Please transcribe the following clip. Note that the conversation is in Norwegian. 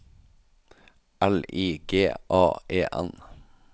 L I G A E N